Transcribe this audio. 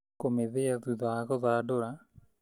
Kũmithia thutha wa gũthandũra